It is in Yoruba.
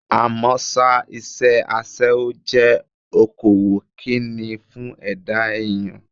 Àmọ́ ṣá, iṣẹ́ aṣẹ́wó jẹ́ okòwò Kínní fún ẹ̀dá èèyàn.